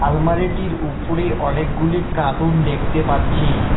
আলমারিটির উপরে অনেকগুলি কাটুন দেখতে পাচ্ছি।